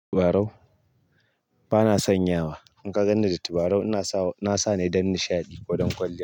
Tabarau? Bana son yawa. In ka ganni da tabarau, ina sa na sa ne don nishaɗi ko don kwalliya.